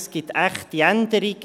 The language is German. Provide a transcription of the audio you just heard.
Es gibt echte Änderungen.